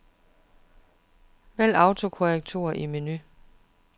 Vælg autokorrektur i menu.